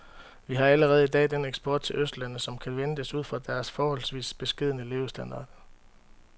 Vi har allerede i dag den eksport til østlandene, som kan ventes ud fra deres forholdsvis beskedne levestandard.